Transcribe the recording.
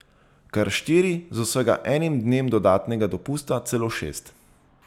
Kar štiri, z vsega enim dnem dodatnega dopusta celo šest.